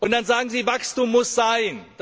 Dann sagen Sie Wachstum muss sein.